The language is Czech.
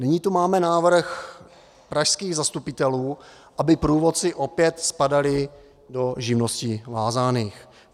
Nyní tu máme návrh pražských zastupitelů, aby průvodci opět spadali do živností vázaných.